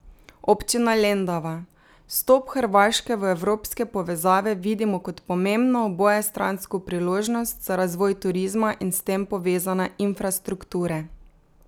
Občina Lendava: "Vstop Hrvaške v evropske povezave vidimo kot pomembno obojestransko priložnost za razvoj turizma in s tem povezane infrastrukture.